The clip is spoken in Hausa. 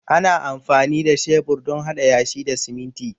Ana amfani da shebur don haɗa yashi da siminti